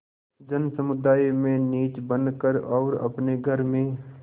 जनसमुदाय में नीच बन कर और अपने घर में